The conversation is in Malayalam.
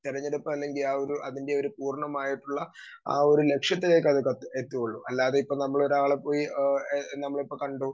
സ്പീക്കർ 2 തെരഞ്ഞെടുപ്പാണെങ്കിൽ ആ ഒരു അതിൻറെയൊരു പൂർണ്ണമായിട്ടുള്ള ആ ഒരു ലക്ഷ്യത്തെ എത്തുകയുള്ളൂ അല്ലാതെയിപ്പോ നമ്മളൊരാളെ പോയി ആഹ് നമ്മളിപ്പോ കണ്ടു